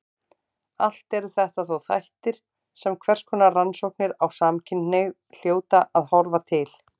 Allt eru þetta þó þættir sem hverskonar rannsóknir á samkynhneigð hljóta að horfa til.